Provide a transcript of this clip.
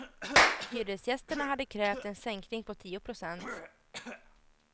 Hyresgästerna hade krävt en sänkning på tio procent.